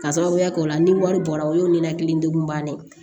K'a sababuya kɛ o la ni wari bɔra o y'o nenakili degun bannen ye